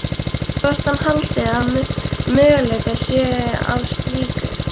Hvort hann haldi að möguleikar séu á slíku.